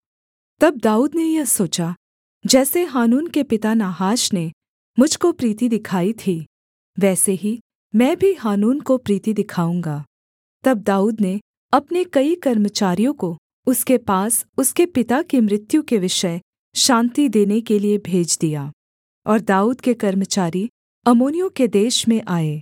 तब दाऊद ने यह सोचा जैसे हानून के पिता नाहाश ने मुझ को प्रीति दिखाई थी वैसे ही मैं भी हानून को प्रीति दिखाऊँगा तब दाऊद ने अपने कई कर्मचारियों को उसके पास उसके पिता की मृत्यु के विषय शान्ति देने के लिये भेज दिया और दाऊद के कर्मचारी अम्मोनियों के देश में आए